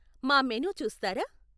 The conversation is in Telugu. మా మెనూ చూస్తారా?